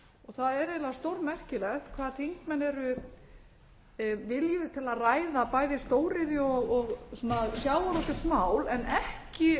það er eiginlega stórmerkilegt hvað þingmenn eru viljugir til að ræða bæði stóriðju og svona sjávarútvegsmál en ekki